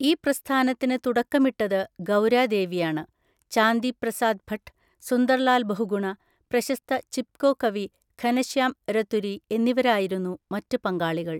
ഈ പ്രസ്ഥാനത്തിന് തുടക്കമിട്ടത് ഗൗരാദേവിയാണ്. ചാന്ദി പ്രസാദ് ഭട്ട്, സുന്ദർലാൽ ബഹുഗുണ, പ്രശസ്ത ചിപ്‌കോ കവി ഘനശ്യാം രതുരി എന്നിവരായിരുന്നു മറ്റ് പങ്കാളികൾ.